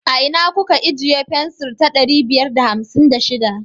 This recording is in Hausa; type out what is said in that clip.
A ina kuka ijiye fensir ta ɗari biyar da hamsin da shiɗa?